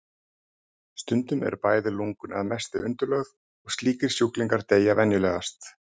Stundum eru bæði lungun að mestu undirlögð og slíkir sjúklingar deyja venjulegast.